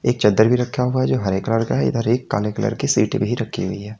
एक चद्दर भी रखा हुआ है जो हरे कलर का इधर काले कलर की सीट भी रखी हुई है।